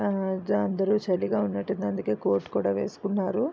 చాల చలిగా ఉన్నటువుంది అందుకే కోర్ట్ కూడా వేసికొని ఉన్నారు.